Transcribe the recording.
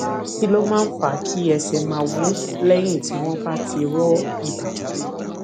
kí ló máa ń fa kí ẹsè máa wú léyìn tí wón bá ti rọ ìbàdí